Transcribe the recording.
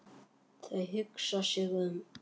Þau hugsa sig um.